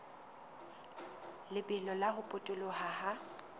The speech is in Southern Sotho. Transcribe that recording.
lebelo la ho potoloha ha